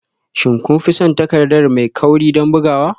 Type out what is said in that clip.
Shin kun fi son takarda mai kauri don bugawa?